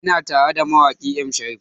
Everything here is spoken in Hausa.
Ina tara da mawaƙi M Sharif